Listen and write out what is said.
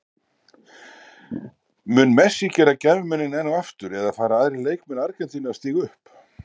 Mun Messi gera gæfumuninn enn og aftur eða fara aðrir leikmenn Argentínu að stíga upp?